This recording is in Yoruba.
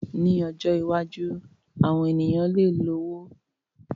Ní ọjọ́ iwájú, àwọn ènìyàn lè lọ́wọ́ nínú ògun un owó, wíwá ọrọ̀ nípasẹ̀ àwọn ọ̀nà ìyèméjì.